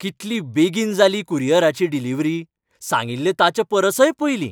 कितली बेगीन जाली कुरियराची डिलिव्हरी. सांगिल्लें ताचेपरसय पयलीं!